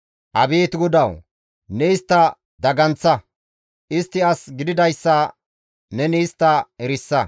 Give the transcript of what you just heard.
Abeet GODAWU! Ne istta daganththa; istti as gididayssa neni istta erisa.